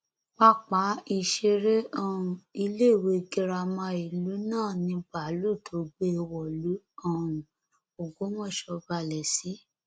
pápá ìṣeré um iléèwé girama ìlú náà ni báálù tó gbé e wọlú um ògbómọṣọ balẹ sí